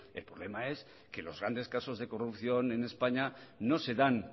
el problema es que los grandes casos de corrupción en españa no se dan